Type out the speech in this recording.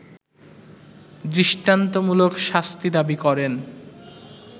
দৃষ্টান্তমূলক শাস্তি দাবি করেন